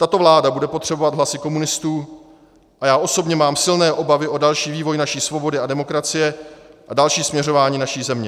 Tato vláda bude potřebovat hlasy komunistů a já osobně mám silné obavy o další vývoj naší svobody a demokracie a další směřování naší země.